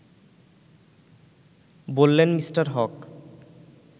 ”বললেন মিঃ হক